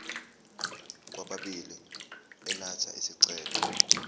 kwababili elatha isicelo